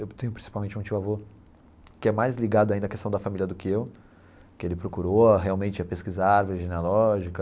Eu tenho principalmente um tio-avô que é mais ligado ainda à questão da família do que eu, que ele procurou realmente a pesquisar árvore genealógica.